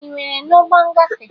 Ị nwere n'ụgbọ ngafe?